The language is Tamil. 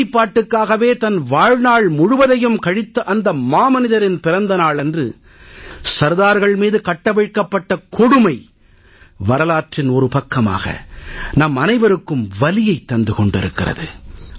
ஒருமைப்பாட்டுக்காகவே தன் வாழ்நாள் முழுவதையும் கழித்த அந்த மாமனிதரின் பிறந்த நாளன்று சர்தார்கள் மீது கட்டவிழ்க்கப்பட்ட கொடுமை வரலாற்றின் ஒரு பக்கமாக நம்மனைவருக்கும் வலியைத் தந்து கொண்டிருக்கிறது